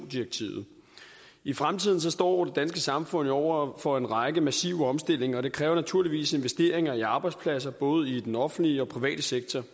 direktivet i fremtiden står det danske samfund jo over for en række massive omstillinger og det kræver naturligvis investeringer i arbejdspladser både i den offentlige og private sektor